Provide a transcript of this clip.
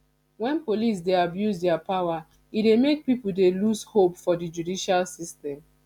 when police dey abuse their power e dey make pipo dey loose hope for di judicial system